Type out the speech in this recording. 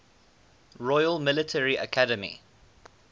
royal military academy